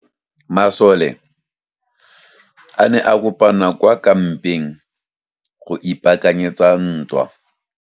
Masole a ne a kopane kwa kampeng go ipaakanyetsa ntwa.